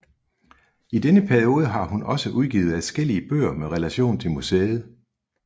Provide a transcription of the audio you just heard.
I denne periode har hun også udgivet adskillige bøger med relation til museet